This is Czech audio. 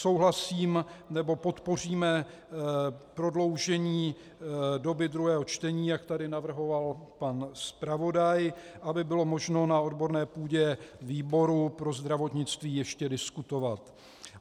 Souhlasím - nebo podpoříme prodloužení doby druhého čtení, jak tady navrhoval pan zpravodaj, aby bylo možno na odborné půdě výboru pro zdravotnictví ještě diskutovat.